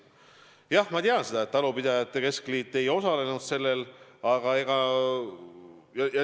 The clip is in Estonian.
Jah, ma tean, et talupidajate keskliit ei osalenud sellel aktsioonil.